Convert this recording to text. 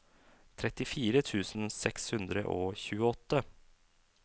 trettifire tusen seks hundre og tjueåtte